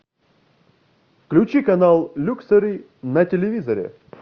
включи канал люксери на телевизоре